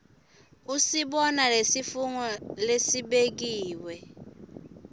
usibona lesifungo lesibekiwe